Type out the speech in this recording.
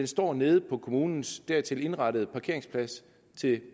står nede på kommunens dertil indrettede parkeringsplads til